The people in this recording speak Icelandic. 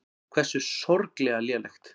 Hversu sorglega lélegt.